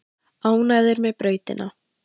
Ánægðir með brautina